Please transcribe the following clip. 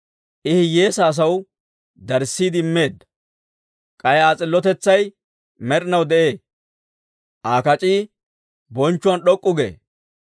I hiyyeesaa asaw darissiide immeedda; k'ay Aa s'illotetsay med'inaw de'ee; Aa kac'ii bonchchuwaan d'ok'k'u gee.